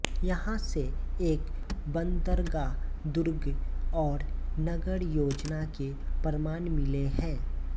यहाँ से एक बन्दरगाह दुर्ग और नगर योजना के प्रमाण मिले है